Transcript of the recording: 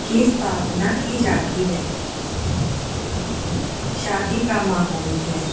की स्थापना की जाती है शादी का माहौल है।